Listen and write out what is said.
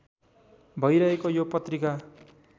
भइरहेको यो पत्रिका